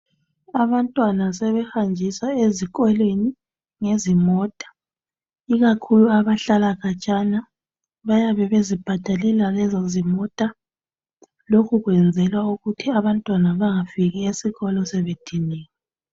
Abantwana sebehanjiswa ezikolweni ngezimota, ikakhulu abahlala khatshana bayabe bezibhadalela lezozimota, lokhu kwenzelwa ukuthi abantwana bangafiki esikolo sebediniwe.